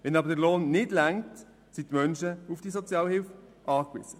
Wenn aber der Lohn nicht ausreicht, sind diese Menschen auf Sozialhilfe angewiesen.